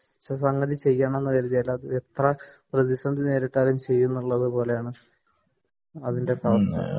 ഒരു സംഗതി ചെയ്യണമെന്ന് കരുതിയാൽ എത്ര പ്രതിസന്ധി നേരിട്ടാലും ചെയ്യുന്നത് പോലെയാണ് അതിന്റെയൊക്കെ അവസ്ഥ